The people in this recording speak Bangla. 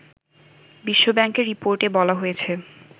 বিশ্বব্যাংকের রিপোর্টে বলা হয়েছে